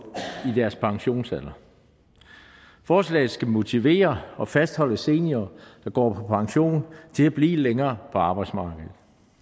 pensionsalderen forslaget skal motivere og fastholde seniorer der går pension til at blive længere på arbejdsmarkedet